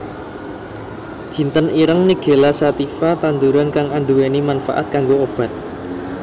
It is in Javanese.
Jinten ireng nigella sativa tanduran kang anduwèni manfaat kanggo obat